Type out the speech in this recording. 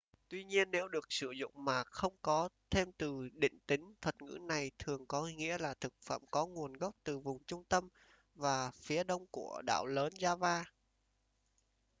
tuy nhiên nếu được sử dụng mà không có thêm từ định tính thuật ngữ này thường có nghĩa là thực phẩm có nguồn gốc từ vùng trung tâm và phía đông của đảo lớn java